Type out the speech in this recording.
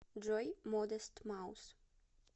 джой модест маус